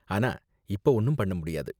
ஆனா, இப்ப ஒண்ணும் பண்ண முடியாது.